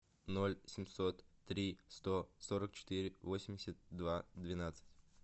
ноль семьсот три сто сорок четыре восемьдесят два двенадцать